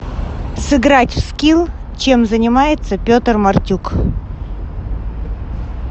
сыграть в скилл чем занимается петр мартюк